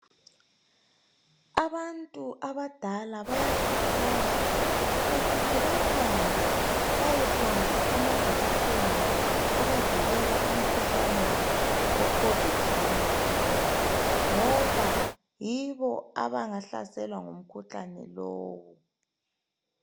Abantu abadala bayakhuthazwa ukuthi bahambe bayehlatshwa amajekiseni abavikela emikhuhlanerni wecovid 19 ngoba yibo abangahlaselwa ngumkhuhlane lowu.